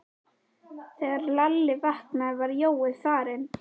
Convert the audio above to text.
Þegar Lalli vaknaði var Jói farinn.